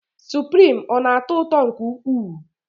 Suprim, ọ na-atọ ụtọ nke ukwuu?